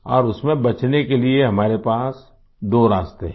और उसमें बचने के लिए हमारे पास दो रास्ते हैं